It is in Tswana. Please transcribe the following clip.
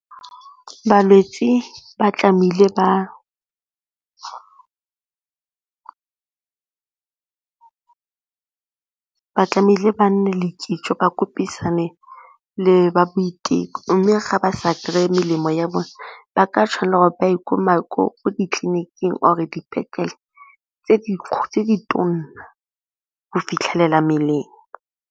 Balwetsi ba tlamehile ba nne le kitso ba le ba boiteko mme ga ba sa kry-e melemo ya bone ba ka tshwanela gore ba ye kwa ditleniking or-re dipetlele tse di tona go fitlhelela mmeleng.